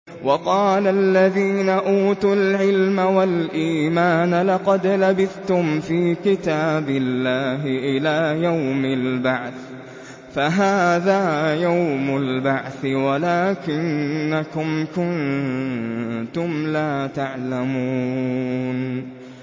وَقَالَ الَّذِينَ أُوتُوا الْعِلْمَ وَالْإِيمَانَ لَقَدْ لَبِثْتُمْ فِي كِتَابِ اللَّهِ إِلَىٰ يَوْمِ الْبَعْثِ ۖ فَهَٰذَا يَوْمُ الْبَعْثِ وَلَٰكِنَّكُمْ كُنتُمْ لَا تَعْلَمُونَ